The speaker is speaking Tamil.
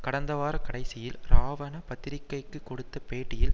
கடந்த வார கடைசியில் ராவன பத்திரிகைக்கு கொடுத்த பேட்டியில்